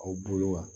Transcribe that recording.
Aw bolo wa